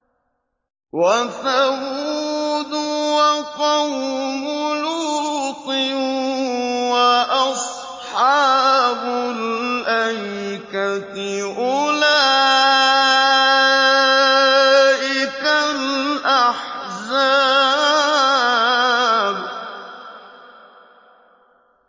وَثَمُودُ وَقَوْمُ لُوطٍ وَأَصْحَابُ الْأَيْكَةِ ۚ أُولَٰئِكَ الْأَحْزَابُ